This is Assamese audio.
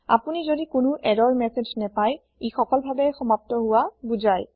আপুনি যদি কোনো এৰৰ মেচেজ নেপাই এ সফলভাবে সমাপ্ত হুৱা বুজাই